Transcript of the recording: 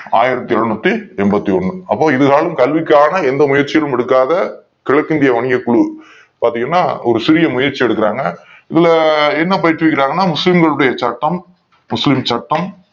ஆயிரத்தி எழுனூத்தி என்பத்தி ஒன்னு அப்போதுதான் கல்விக் கான எந்த முயற்சியும் எடுக் காத கிழக்கு இந்திய வங்கிய குழு பாத்தீங்கன்னா ஒரு சிறிய முயற்சி எடுக் குறாங்க இதுல என்ன பயிற்சி அளிக் கிறார்கள் என்றால் முஸ்லிம் களுடைய சட்டம் முஸ்லிம் சட்டம்